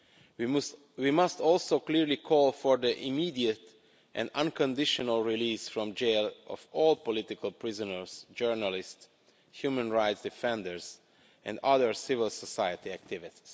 We must also clearly call for the immediate and unconditional release from jail of all political prisoners, journalists, human rights defenders and other civil society activists.